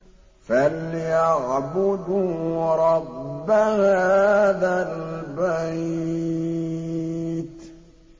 فَلْيَعْبُدُوا رَبَّ هَٰذَا الْبَيْتِ